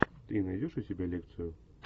ты найдешь у себя лекцию